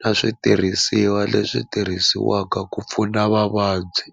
na switirhisiwa leswi tirhisiwaka ku pfuna vavabyi.